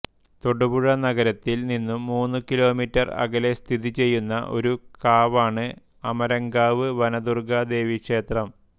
തൊടുപുഴ നഗരത്തിൽ നിന്നും മൂന്നു കിലോമീറ്റർ അകലെ സ്ഥിതിചെയ്യുന്ന ഒരു കാവാണ് അമരങ്കാവ് വനദുർഗ്ഗാ ദേവീക്ഷേത്രം